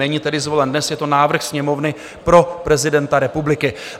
Není tedy zvolen dnes, je to návrh Sněmovny pro prezidenta republiky.